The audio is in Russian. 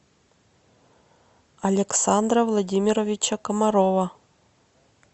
александра владимировича комарова